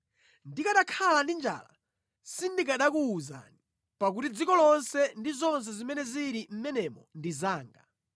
Ndikanakhala ndi njala sindikanakuwuzani, pakuti dziko lonse ndi zonse zimene zili mʼmenemo ndi zanga.